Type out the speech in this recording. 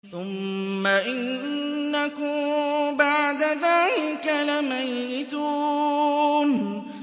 ثُمَّ إِنَّكُم بَعْدَ ذَٰلِكَ لَمَيِّتُونَ